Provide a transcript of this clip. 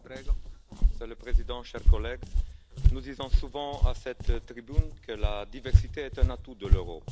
Monsieur le Président, chers collègues, nous disons souvent à cette tribune que la diversité est un atout de l'Europe.